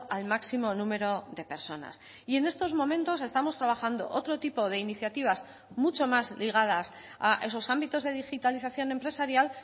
al máximo número de personas y en estos momentos estamos trabajando otro tipo de iniciativas mucho más ligadas a esos ámbitos de digitalización empresarial